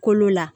Kolo la